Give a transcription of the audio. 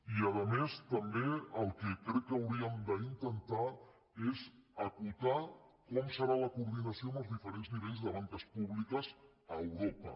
i a més també el que crec que hauríem d’intentar és acotar com serà la coordinació amb els diferents nivells de banques públiques a europa